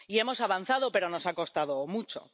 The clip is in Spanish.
Y hemos avanzado, pero nos ha costado mucho.